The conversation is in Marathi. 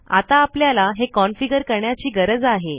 आता आपल्याला हे कॉन्फिगर करण्याची गरज आहे